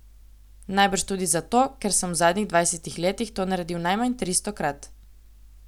Najbrž tudi zato, ker sem v zadnjih dvajsetih letih to naredil najmanj tristokrat.